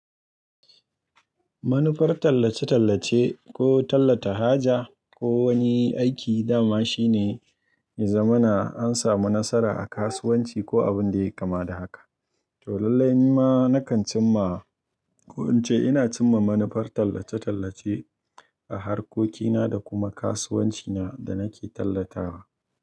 Manufar tallace-tallace ko tallata haja ko wani aiki dama shine, ya zamana an samu nasara a kasuwanci ko abin da ya kama da haka. To lallai ma na kan cim ma ko in ce ina cim ma manufar tallace-tallace a harkokina da kuma kasuwancina da nake tallatawa.